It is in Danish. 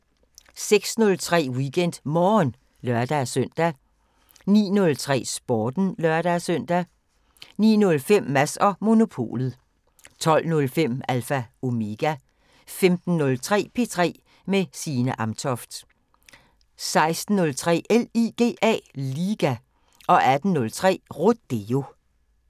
06:03: WeekendMorgen (lør-søn) 09:03: Sporten (lør-søn) 09:05: Mads & Monopolet 12:05: Alpha Omega 15:03: P3 med Signe Amtoft 16:03: LIGA 18:03: Rodeo